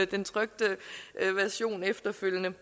den trykte version efterfølgende